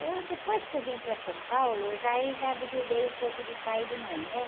Eu, depois que eu vim para São Paulo, eu já aí, já desliguei um pouco de pai e de mãe, né?